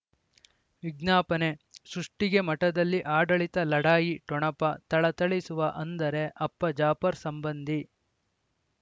ವಿಜ್ಞಾಪನೆ ಸೃಷ್ಟಿಗೆ ಮಠದಲ್ಲಿ ಆಡಳಿತ ಲಢಾಯಿ ಠೊಣಪ ಥಳಥಳಿಸುವ ಅಂದರೆ ಅಪ್ಪ ಜಾಫರ್ ಸಂಬಂಧಿ